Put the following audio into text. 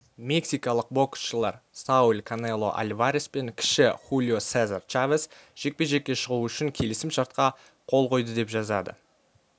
мексикалық боксшылар сауль канело альварес пен кіші хулио сезар чавес жекпе-жекке шығу үшін келісім шартқа қол қойды деп жазады